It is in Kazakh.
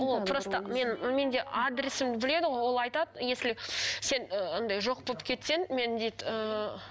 ол просто мен менде адресімді біледі ғой ол айтады если сен ы андай жоқ болып кетсең мен дейді ыыы